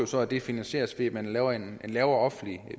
så at det finansieres ved en lavere en lavere offentlig